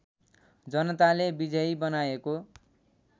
जनताले विजयी बनाएको